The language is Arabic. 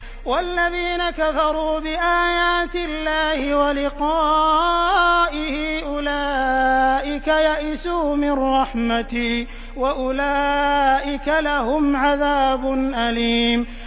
وَالَّذِينَ كَفَرُوا بِآيَاتِ اللَّهِ وَلِقَائِهِ أُولَٰئِكَ يَئِسُوا مِن رَّحْمَتِي وَأُولَٰئِكَ لَهُمْ عَذَابٌ أَلِيمٌ